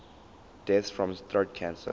deaths from throat cancer